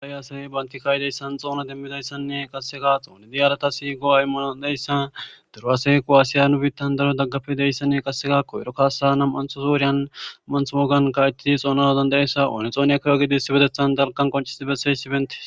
Haayy asayey banti kaayidayssan xoona demmidayssanne qasseka xooni diyarata siigo aymmano deyssan duruasekuwaasiya nu biittan daro daggafe deyssanne qassekakko ero kasa nam anthosouryan manth wogan ka7ettii xoona hodandayessa oone xooniya kiro gidi sibetethan dalkan qoncisii bessey sibentes